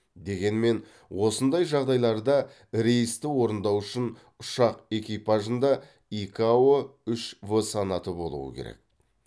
дегенмен осындай жағдайларда рейсті орындау үшін ұшақ экипажында икао үш в санаты болу керек